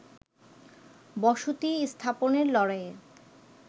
বসতি স্থাপনের লড়াইয়ে